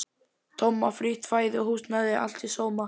Tomma, frítt fæði og húsnæði, allt í sóma.